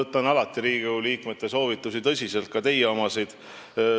Ja ma võtan alati Riigikogu liikmete soovitusi tõsiselt, ka teie omasid.